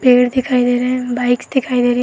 पेड़ दिखाई दे रहे हैं। बाइक्स दिखाई दे रही --